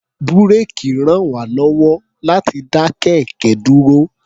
Búréèkì ràn wá lọ́wọ́ láti dá kẹ̀kẹ́ dúró.